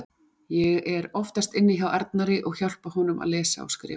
Ég er oftast inni hjá Arnari og hjálpa honum að lesa og skrifa.